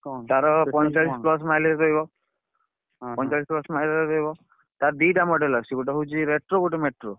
ତାର ପଇଁଚାଳିଶି plus mileage ରହିବ। ପଇଁଚାଳିଶି plus mileage ରହିବ। ତାର ଦିଟା model ଆସଚୁ ଗୋଟେ ହଉଛି retro ଗୋଟେ metro ।